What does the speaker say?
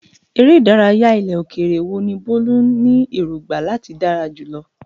Eré ìdárayá ilẹ̀ òkèèrè wo ni Bolu ní èrògbà láti dára jùlọ?